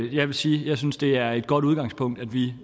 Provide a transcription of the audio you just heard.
jeg vil sige at jeg synes at det er et godt udgangspunkt at vi